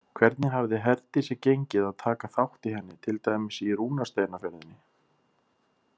Hvernig hafði Herdísi gengið að taka þátt í henni, til dæmis í rúnasteinaferðinni?